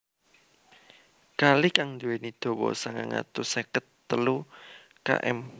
Kali kang nduwèni dawa sangang atus seket telu km